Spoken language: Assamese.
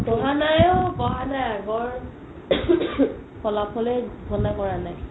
পঢ়া নাই ও পঢ়া নাই ও আগৰ ফলাফলে ঘুসনা কৰা নাই